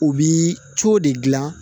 U bi cow de gilan